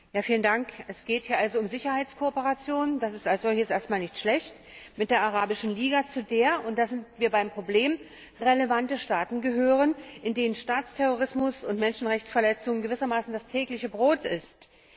Frau Präsidentin! Es geht hier also um Sicherheitskooperation. Das ist als solches erst mal nicht schlecht. Mit der Arabischen Liga, zu der und da sind wir beim Problem relevante Staaten gehören, in denen Staatsterrorismus und Menschenrechtsverletzungen gewissermaßen das tägliche Brot sind.